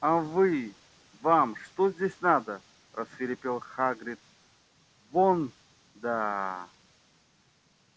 а вы вам что здесь надо рассвирепел хагрид вон да